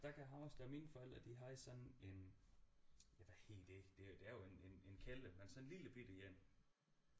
Jeg kan huske da mine forældre de havde sådan en ja hvad hedder det det er jo en en kælder men sådan en lillebitte en